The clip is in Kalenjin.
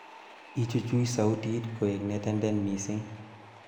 ichuch sautit koe netenden mising'